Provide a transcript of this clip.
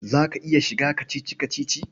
Za ka iya shiga kacici-kacici?